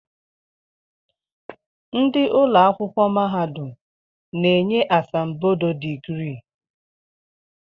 Ndị ụlọakwụkwọ mahadum na-enye asambodo digrii